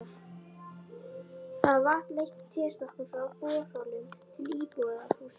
Þar var vatn leitt í tréstokkum frá borholum til íbúðarhúsa.